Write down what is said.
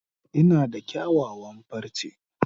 Ina da kyawawan farce.